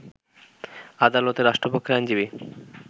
আদালতে রাষ্ট্রপক্ষের আইনজীবী